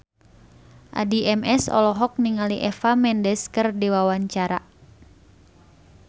Addie MS olohok ningali Eva Mendes keur diwawancara